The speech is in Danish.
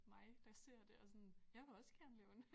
Mig der ser det og sådan jeg vil også gerne lave en